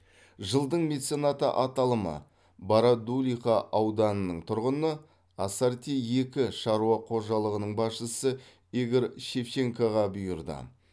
жылдың меценаты аталымы бородулиха ауданының тұрғыны ассорти екі шаруа қожалығының басшысы игорь шевченкоға бұйырды